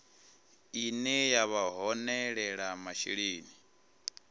ine ya vha holela masheleni